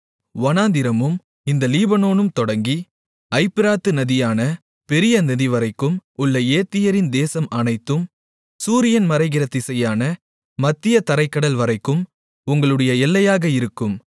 வனாந்திரமும் இந்த லீபனோனும் தொடங்கி ஐப்பிராத்து நதியான பெரிய நதிவரைக்கும் உள்ள ஏத்தியரின் தேசம் அனைத்தும் சூரியன் மறைகிற திசையான மத்திய தரைக்கடல் வரைக்கும் உங்களுடைய எல்லையாக இருக்கும்